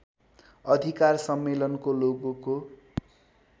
अधिकार सम्मेलनको लोगोको